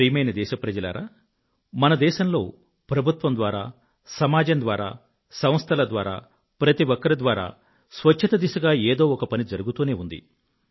ప్రియమైన నా దేశ వాసులారా మన దేశంలో ప్రభుత్వం ద్వారా సమాజం ద్వారా సంస్థల ద్వారా ప్రతి ఒక్కరి ద్వారా స్వచ్ఛత దిశగా ఏదో ఒక పని జరుగుతూనే ఉంది